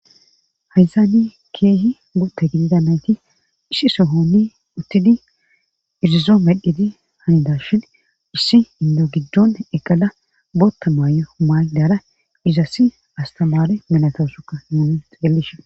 haysani keehi gotta gidida nayti ishi sohonni uttidi irizoo medhedi hanidashin issi indo giddon eqala bootta maayo maaydara izasi astamare minatoosuka muunun xelishen